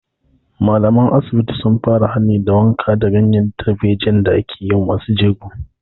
Malaman asibiti sun fara hani da wankan ganyen darejiyan da ake yi wa masu jego